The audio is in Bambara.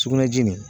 Sugunɛji